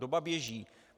Doba běží.